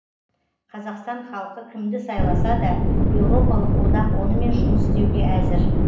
қазақстан халқы кімді сайласа да еуропалық одақ онымен жұмыс істеуге әзір